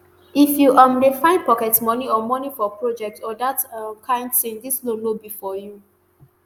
if you um dey fine pocket moni or moni for project or dat um kain tin dis loan no be for you